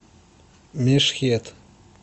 мешхед